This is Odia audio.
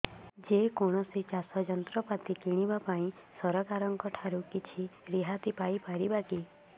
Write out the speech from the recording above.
ଯେ କୌଣସି ଚାଷ ଯନ୍ତ୍ରପାତି କିଣିବା ପାଇଁ ସରକାରଙ୍କ ଠାରୁ କିଛି ରିହାତି ପାଇ ପାରିବା କି